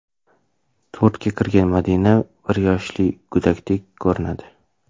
To‘rtga kirgan Madina bir yoshli go‘dakdek ko‘rinadi.